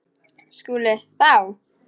SKÚLI: Þá?